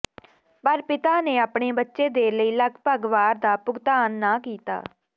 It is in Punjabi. ਪਰ ਪਿਤਾ ਨੇ ਆਪਣੇ ਬੱਚੇ ਦੇ ਲਈ ਲਗਭਗ ਵਾਰ ਦਾ ਭੁਗਤਾਨ ਨਾ ਕੀਤਾ